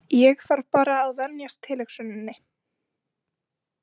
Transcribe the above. Ég þarf bara að venjast tilhugsuninni.